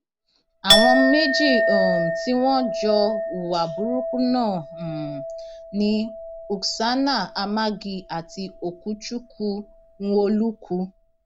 àwọn méjì um tí wọn jọ hùwà burúkú náà um ni uksana amagi àti okuchukwu nwolukwu